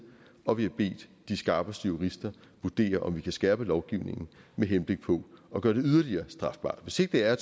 og vi har bedt de skarpeste jurister vurdere om vi kan skærpe lovgivningen med henblik på at gøre det yderligere strafbart hvis ikke det er